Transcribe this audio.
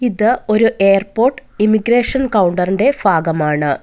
ഇത് ഒരു airport immigration counter ഇന്റെ ഭാഗമാണ്.